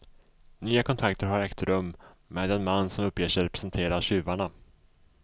Nya kontakter har ägt rum med den man som uppger sig representera tjuvarna.